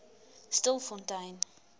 stilfontein